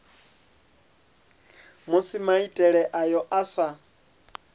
musi maitele ayo a sa